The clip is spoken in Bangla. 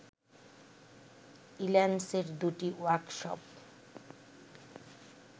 ইল্যান্সের দুটি ওয়ার্কশপ